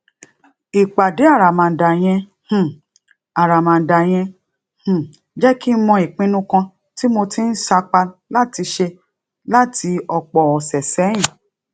ìpàdé àràmàǹdà yẹn um àràmàǹdà yẹn um jé kí n mọ ìpinnu kan tí mo ti ń sapá láti ṣe láti òpò òsè séyìn